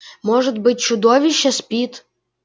может быть чудовище спит